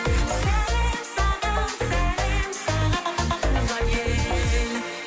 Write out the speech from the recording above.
сәлем саған сәлем саған туған ел